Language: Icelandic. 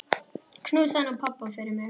Knúsaðu nú pabba fyrir mig.